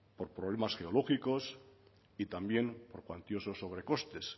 por problemas geológicos y también por cuantiosos sobrecostes